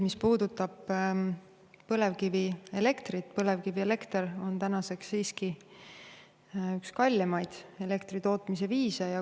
Mis puudutab põlevkivielektrit, siis põlevkivist elektri tootmine on tänaseks siiski üks kallimaid elektritootmise viise.